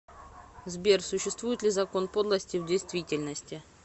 сбер существует ли закон подлости в действительности